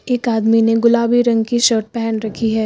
एक आदमी ने गुलाबी रंग की शर्ट पहन रखी है।